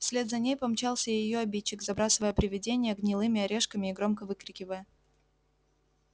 вслед за ней помчался и её обидчик забрасывая привидение гнилыми орешками и громко выкрикивая